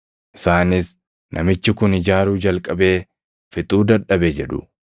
Isaanis, ‘Namichi kun ijaaruu jalqabee fixuu dadhabe’ jedhu.